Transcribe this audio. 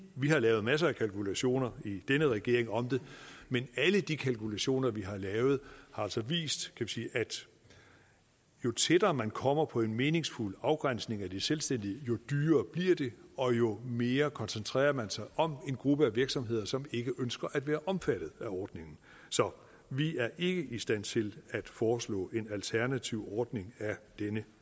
vi har lavet masser af kalkulationer i denne regering om det men alle de kalkulationer vi har lavet har altså vist vi sige at jo tættere man kommer på en meningsfuld afgrænsning af de selvstændige jo dyrere bliver det og jo mere koncentrerer man sig om en gruppe af virksomheder som ikke ønsker at være omfattet af ordningen så vi er ikke i stand til at foreslå en alternativ ordning af denne